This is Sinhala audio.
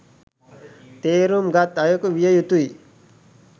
තේරුම් ගත් අයකු විය යුතුයි